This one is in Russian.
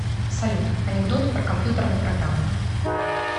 салют анекдоты про компьютерные программы